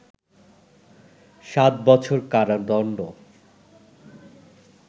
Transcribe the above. ৭ বছর কারাদণ্ড